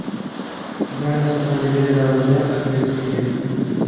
Bu, ayniqsa, pandemiya davrida katta ahamiyatga ega.